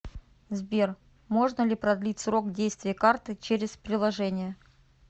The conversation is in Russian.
сбер можно ли продлить срок действия карты через приложение